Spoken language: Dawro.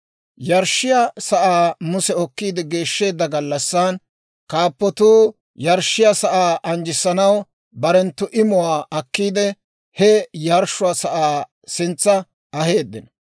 Yarshshiyaa saa Muse okkiide geeshsheedda gallassan, kaappotuu yarshshiyaa sa'aa anjjissanaw barenttu imuwaa akkiide, he yarshshuwaa sa'aa sintsa aheeddino.